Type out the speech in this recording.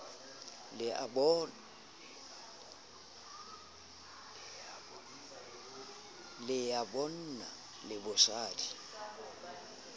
le ya bonna le bosadi